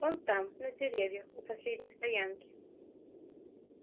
он там на деревьях у последней стоянки